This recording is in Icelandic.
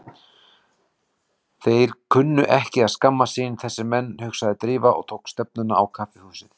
Þeir kunnu ekki að skammast sín, þessir menn, hugsaði Drífa og tók stefnuna á kaffihúsið.